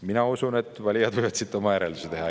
Mina usun, et valijad võivad siit oma järeldusi teha.